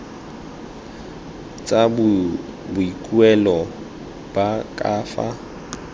tsa boikuelo ba ka fa